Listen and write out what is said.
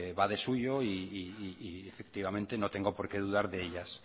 va de suyo y efectivamente no tengo porque dudar de ellas